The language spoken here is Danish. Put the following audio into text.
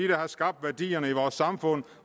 der har skabt værdierne i vores samfund